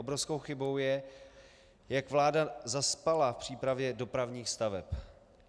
Obrovskou chybou je, jak vláda zaspala v přípravě dopravních staveb.